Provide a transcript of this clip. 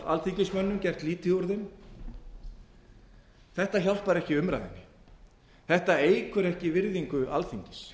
alþingismönnum gert lítið úr þeim þetta hjálpar ekki í umræðunni þetta eykur ekki virðingu alþingis